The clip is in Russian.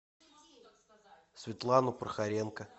светлану прохоренко